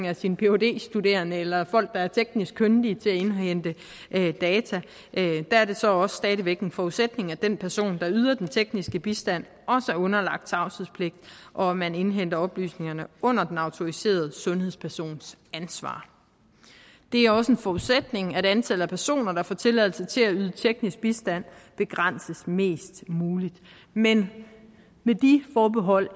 af sin phd studerende eller af folk der er teknisk kyndige til at indhente data der er det så også stadig væk en forudsætning at den person der yder den tekniske bistand er underlagt tavshedspligt og at man indhenter oplysningerne under den autoriserede sundhedspersons ansvar det er også en forudsætning at antallet af personer der får tilladelse til at yde teknisk bistand begrænses mest muligt men med de forbehold